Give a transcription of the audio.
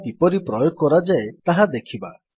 ଏହା କିପରି ପ୍ରୟୋଗ କରାଯାଏ ତାହା ଦେଖିବା